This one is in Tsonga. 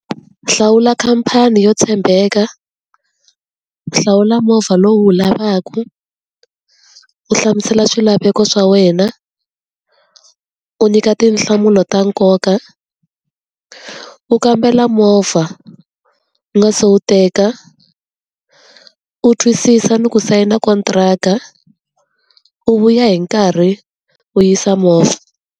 Hlawula khampani yo tshembeka, hlawula movha lowu wu lavaku, u hlamusela swilaveko swa wena, u nyika tinhlamulo ta nkoka, u kambela movha u nga se wu teka, u twisisa ni ku sayina kontiraka, u vuya hi nkarhi u yisa movha.